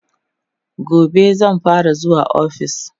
gobe zan fara zuwa ofis